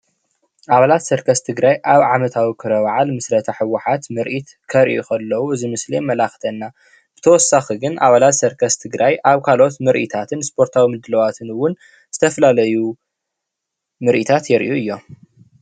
ኣባላት ሰርከስ ትግራይ ኣብ ዓመታዊ ክብረ በዓል ምስረታ ህወሓት ምርኢት ከርእዩ ከለው እዚ ምስሊ የመላኽተና፡፡ ብተወሳኺ ግን ኣባላት ሰርከስ ትግራይ ኣብ ካልኦት ምርኢታትን ስፖርታዊ ምድላዋትን እውን ዝተፈላለዩ ምርኢታት የርእዩ እዮም፡፡